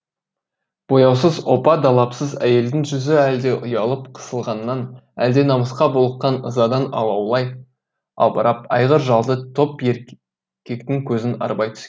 бояусыз опа далапсыз әйелдің жүзі әлде ұялып қысылғаннан әлде намысқа булыққан ызадан алаулай албырап айғыр жалды топ еркектің көзін арбай